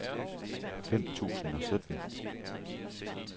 fem tusind og sytten